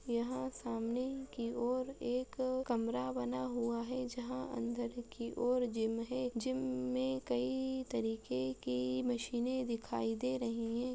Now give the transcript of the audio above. यहां सामने की ओर एक कमरा बना हुआ है जहां अंदर की ओर एक जिम है जिम में कई तरीके के मशीने दिखाई दे रही है।